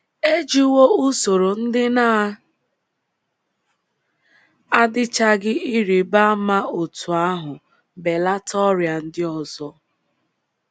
E jiwo usoro ndị na - adịchaghị ịrịba ama otú ahụ belata ọrịa ndị ọzọ.